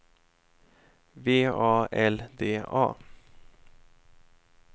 V A L D A